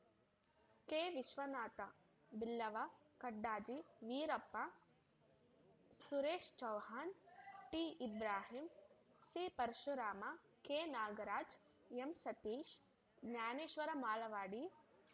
K Vishwanatha Billava Kadajji Veerappa Suresh Chauhan ಟಿಇಬ್ರಾಹಿಂ ಸಿಪರಶುರಾಮ ಕೆನಾಗರಾಜ ಎಂಸತೀಶ Dnyaneshwar ಮಾಲವಾಡೆ